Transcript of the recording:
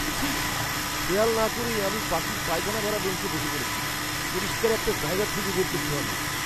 ছিঃ! খেয়াল না করেই আমি পাখির পায়খানায় ভরা বেঞ্চে বসে পড়েছি। পরিষ্কার একটা জায়গা খুঁজে বের করতে হবে।